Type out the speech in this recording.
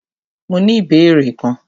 Mó ní ìbéèrè kan.